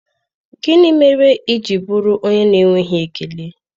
Gịnị mere i ji bụrụ onye na-enweghị ekele?